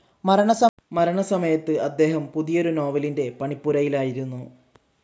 മരണസമയത്ത് അദ്ദേഹം പുതിയൊരു നോവലിന്റെ പണിപ്പുരയിലായിരുന്നു.